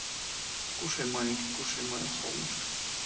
кушай маленький кушай моё солнышко